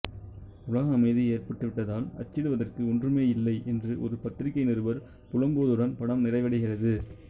உலக அமைதி ஏற்பட்டுவிட்டதால் அச்சிடுவதற்கு ஒன்றுமே இல்லை என்று ஒரு பத்திரிகை நிருபர் புலம்புவதுடன் படம் நிறைவடைகிறது